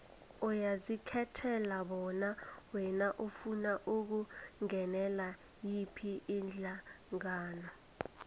uyazikhethela bona wena ufuna ukungenela yiphi ihlangano